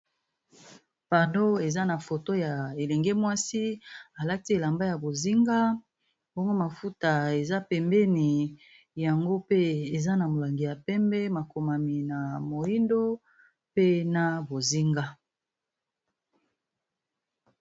Pardo, eza na foto ya elenge mwasi alati elamba ya bozinga. Bongo mafuta eza pembeni, yango pe eza na molangi ya pembe. Makomami na moindo, pe na bozinga